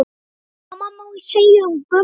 Sama má segja um Gumma.